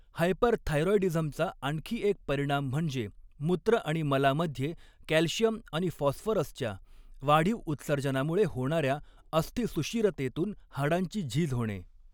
हायपरथायरॉईडीझमचा आणखी एक परिणाम म्हणजे मूत्र आणि मलामध्ये कॅल्शियम आणि फॉस्फरसच्या वाढीव उत्सर्जनामुळे होणाऱ्या अस्थिसुषिरतेतून हाडांची झीज होणे.